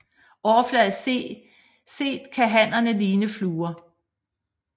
Overfladisk set kan hannerne ligne fluer